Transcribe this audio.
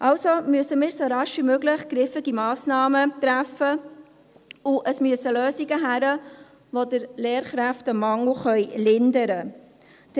Also müssen wir so rasch wie möglich griffige Massnahmen treffen, und es müssen Lösungen gefunden werden, die den Lehrkräftemangel lindern können.